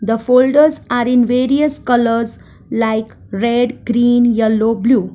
the folders are in various colours like red green yellow blue.